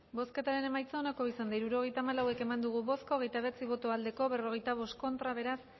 bozketaren emaitza onako izan da hirurogeita hamalau eman dugu bozka hogeita bederatzi boto aldekoa cuarenta y cinco contra beraz